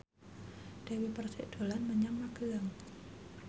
Dewi Persik dolan menyang Magelang